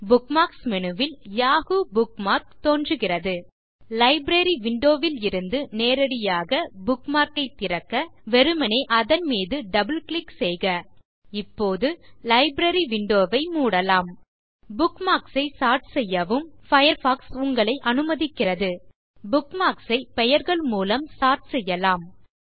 bookmarks menu ல் Yahoo bookmark தோன்றுகிறது library window லிருந்து நேரடியாக புக்மார்க் ஐத் திறக்க வெறுமனே அதன் மீது double கிளிக் செய்க இப்போது லைப்ரரி விண்டோ ஐ மூடலாம் புக்மார்க்ஸ் ஐ சோர்ட் செய்யவும் பயர்ஃபாக்ஸ் உங்களை அனுமதிக்கிறது புக்மார்க்ஸ் ஐ பெயர்கள் மூலம் சோர்ட் செய்யலாம்